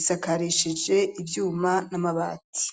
isakarishije ivyuma n'amabati.